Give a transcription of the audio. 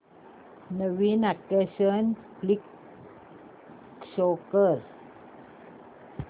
नवीन action flick show कर